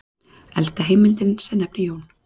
Elsta heimildin sem nefnir Jón